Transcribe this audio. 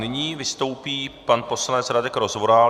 Nyní vystoupí pan poslanec Radek Rozvoral.